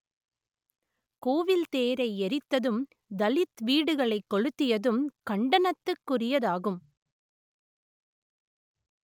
கோவில் தேரை எரித்ததும் தலித் வீடுகளைக் கொளுத்தியதும் கண்டனத்துக்குரியதாகும்